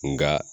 Nka